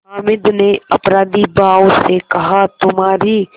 हामिद ने अपराधीभाव से कहातुम्हारी